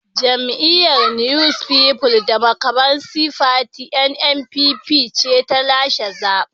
Jam’iyyar New People Democratic Party (NNPP) ce ta lashe zaben.